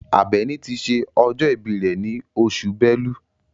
Àbẹ̀ní ti ṣe ọjọ́ ìbí rẹ̀ ní oṣù Bẹ́lú.